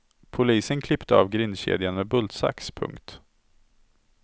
Polisen klippte av grindkedjan med bultsax. punkt